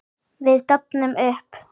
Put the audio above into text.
Við dofnum upp.